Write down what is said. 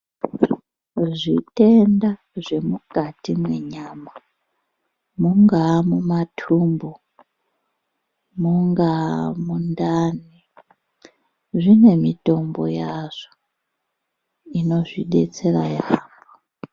Zvitenda zvemukati mwenyama ,mungaa mumathumbu, mungaa mundani, zvine mitombo yazvo, inozvidetsera yaamho.